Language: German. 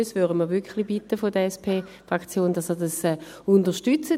Sonst würden wir von der SP-Fraktion wirklich darum bitten, dass Sie dies unterstützen.